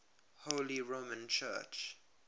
holy roman church